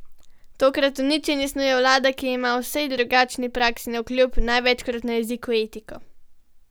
Tokrat uničenje snuje vlada, ki ima, vsej drugačni praksi navkljub, največkrat na jeziku etiko.